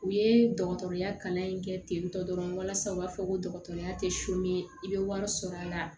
U ye dɔgɔtɔrɔya kalan in kɛ tentɔ dɔrɔn walasa u b'a fɔ ko dɔgɔtɔrɔya tɛ i bɛ wari sɔrɔ a la